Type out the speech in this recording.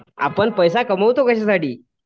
आपण पैसा कमवतो कशासाठी?